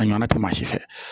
A ɲɔnna tɛ maa si fɛ